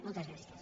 moltes gràcies